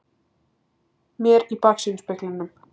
ar mér í baksýnisspeglinum.